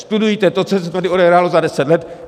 Studujte to, co se tady odehrálo za deset let!